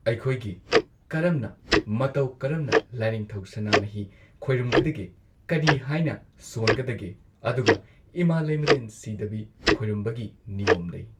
ꯑꯩꯈꯣꯏꯒꯤ ꯀꯔꯝꯅ ꯃꯇꯧ ꯀꯔꯝꯅ ꯂꯥꯢꯅꯤꯡꯊꯧ ꯁꯅꯥꯃꯍꯤ ꯈꯣꯏꯔꯝꯒꯗꯒꯦ ꯀꯔꯤ ꯍꯥꯏꯅ ꯁꯣꯟꯒꯗꯒꯦ ꯑꯗꯨꯒ ꯏꯃꯥ ꯂꯩꯃꯔꯦꯟ ꯁꯤꯗꯕꯤ ꯈꯣꯏꯔꯝꯕꯒꯤ ꯅꯤꯌꯣꯝ ꯂꯩ꯫